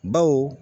Baw